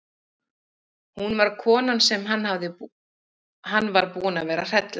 Hún var konan sem hann var búinn að vera að hrella!